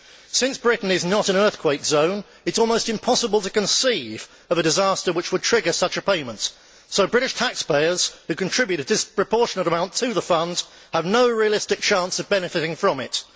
Since Britain is not in an earthquake zone, it is almost impossible to conceive of a disaster which would trigger such a payment, so British taxpayers who contribute a disproportionate amount to the funds have no realistic chance of benefiting from it.